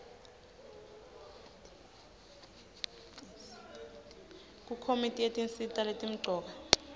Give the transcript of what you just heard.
kukomiti yetinsita letimcoka